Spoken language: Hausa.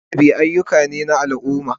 Ladabi ayyuka ne na al'umma.